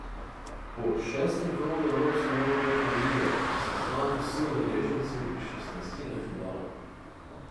Po šestem krogu evropske nogometne lige so znani vsi udeleženci šestnajstine finala.